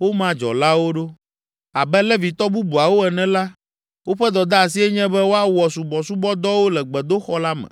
woma dzɔlawo ɖo. Abe Levitɔ bubuawo ene la, woƒe dɔdeasie nye be woawɔ subɔsubɔdɔwo le gbedoxɔ la me.